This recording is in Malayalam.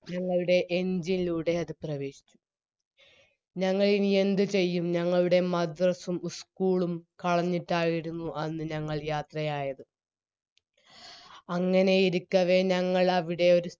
ഞങ്ങളുടെ engine ലൂടെ അത് പ്രേവേശിച്ചു ഞങ്ങളിനി എന്ത് ചെയ്യും ഞങ്ങളുടെ മദ്‌റസ്സും ഉ school ഉം കളഞ്ഞിട്ടായിരുന്നു അന്ന് ഞങ്ങൾ യാത്രയായത് അങ്ങനെയിരിക്കവേ ഞങ്ങളവിടെയൊരു